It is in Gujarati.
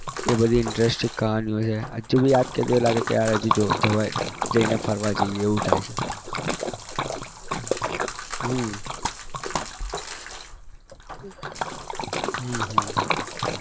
એ બધી interesting કહાનીઓ છે હજુ બી યાદ કરીએ તો લાગે કે હજુ જો જવાય જઈને ફરવા જઈએ એવું થાય છે હમ હમ હમ